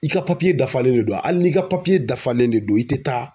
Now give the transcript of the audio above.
I ka papiye dafalen de don a ali n'i ka papiye dafalen de don i te taa